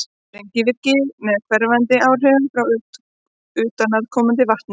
sprengivirkni með hverfandi áhrifum frá utanaðkomandi vatni